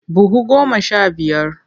Buhu goma sha biyar.